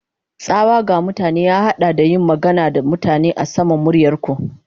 Tsawa ga mutane ya haɗa da yin magana da mutane a saman muryar ku.